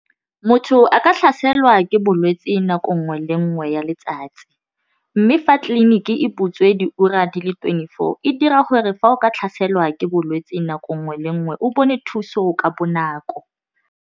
Motho a ka tlhaselwa ke bolwetse nako nngwe le nngwe ya letsatsi mme fa tleliniki e butswe diura di le twenty four e dira gore fa o ka tlhaselwa ke bolwetse nako nngwe le nngwe o bone thuso ka bonako.